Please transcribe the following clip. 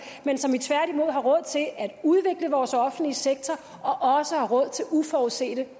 men så vi tværtimod har råd til at udvikle vores offentlige sektor og også har råd til uforudsete